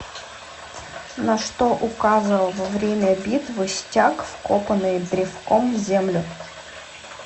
на что указывал во время битвы стяг вкопанный древком в землю